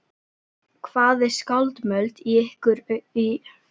Hvað er skálmöld í ykkar augum?